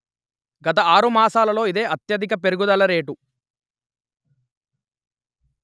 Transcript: గత ఆరు మాసాలలో ఇదే అత్యధిక పెర్గుదల రేటు